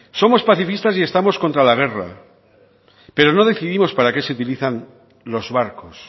somos pacifistas y estamos contra la guerra pero no definimos para qué se utilizan los barcos